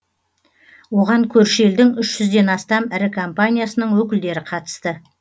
оған көрші елдің үш жүзден астам ірі компаниясының өкілдері қатысты